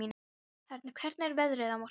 Hörn, hvernig er veðrið á morgun?